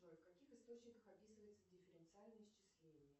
джой в каких источниках описывается дифференциальное исчисление